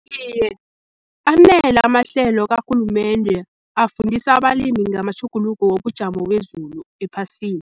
Iye, anele amahlelo karhulumende afundisa abalimi ngamatjhuguluko wobujamo bezulu ephasini.